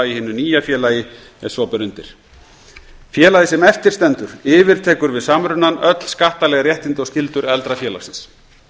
í hinu nýja félagi ef svo ber undir félagið sem eftir stendur yfirtekur við samrunann öll skattaleg réttindi og skyldur eldra félagsins